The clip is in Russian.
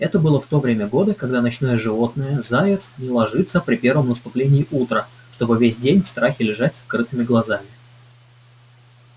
это было в то время года когда ночное животное заяц не ложится при первом наступлении утра чтобы весь день в страхе лежать с открытыми глазами